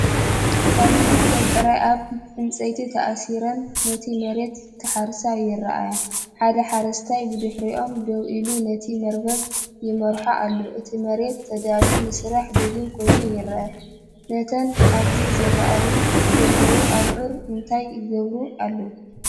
ኣብዚ ክልተ ብዕራይ ኣብ ዕንጨይቲ ተኣሲረን ነቲ መሬት ክሓርሳ ይርኣያ። ሓደ ሓረስታይ ብድሕሪኦም ደው ኢሉ ነቲ መርበብ ይመርሖ ኣሎ። እቲ መሬት ተዳልዩ ንስራሕ ድሉው ኮይኑ ይረአ። እተን ኣብዚ ዝረኣዩ ዘለው ኣብዑር እንታይ ይገብሩ ኣለው?